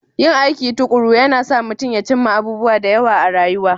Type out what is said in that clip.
Yin aiki tuƙuru yana sa mutum ya cimma abubuwa da yawa a rayuwa